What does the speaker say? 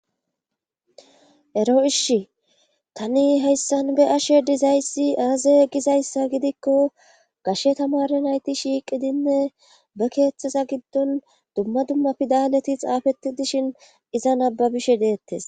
Ero ishi tani heyssan be ashe dizayssi aaze gizayssa gidikko gashe tamare nayti shiiqidinne be keeththeza giddon dumma dumma fidaleti xaafeti dishin iza nababishe deettes